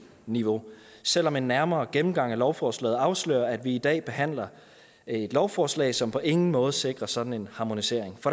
niveau selv om en nærmere gennemgang af lovforslaget afslører at vi i dag behandler et lovforslag som på ingen måde sikrer en sådan harmonisering